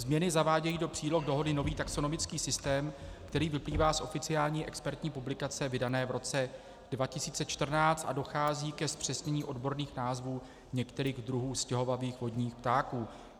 Změny zavádějí do příloh dohody nový taxonomický systém, který vyplývá z oficiální expertní publikace vydané v roce 2014, a dochází ke zpřesnění odborných názvů některých druhů stěhovavých vodních ptáků.